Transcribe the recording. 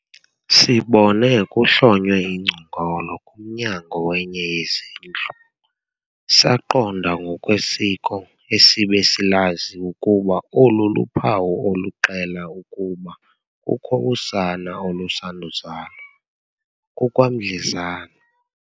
sibone kuhlonywe ingcongolo kumnyango wenye yezindlu, saqonda ngokwesiko esibe silazi ukuba olu luphawu oluxela ukuba kukho usana olusanduzalwa - kukwamdlezana.